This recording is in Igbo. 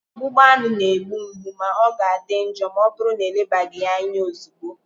Ọgbụgba aṅụ na-egbu mgbu ma ọ ga-adị njọ ma ọbụrụ na elebaghị ya anya ozugbo